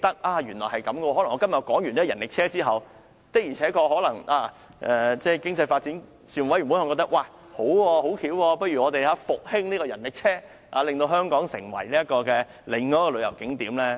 例如，我今天提出了發展人力車後，可能經濟發展事務委員會認為這主意很好，決定復興人力車，使之成為香港另一個旅遊景觀。